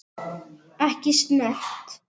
Ekki snert.